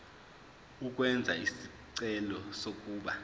ukwenza isicelo sokuba